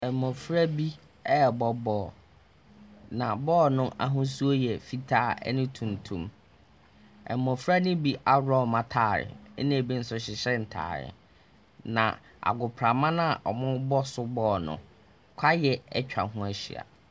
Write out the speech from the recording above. Mmɔfra bi rebɔ ball, na ball no ahosuo yɛ fitaa ne tuntum. Mmɔfra no bi aworɔ wɔn atare, ɛnna bi nso hyehyɛ ntare, na agoprama no a wɔrebɔ so ball no, kwaeɛ atwa ho ahyia. 04556.